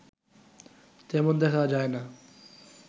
তেমন দেখা যায় না